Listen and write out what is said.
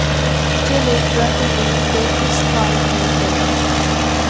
ਬੱਚੇ ਲਈ drug release ਦੇ ਇਸ ਫਾਰਮ ਨੂੰ ਗ਼ਲਤ ਹੈ